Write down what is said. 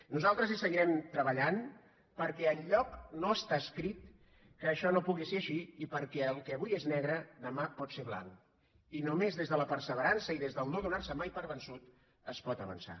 nosaltres hi seguirem treballant perquè enlloc no està escrit que això no pugui ser així i perquè el que avui és negre demà pot ser blanc i només des de la perseverança i des de no donar se mai per vençut es pot avançar